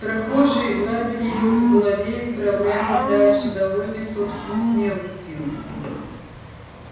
прохожие гладили его по голове и отправлялись дальше довольные собственной смелостью